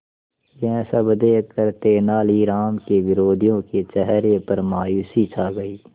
यह सब देखकर तेनालीराम के विरोधियों के चेहरे पर मायूसी छा गई